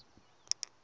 nkhensani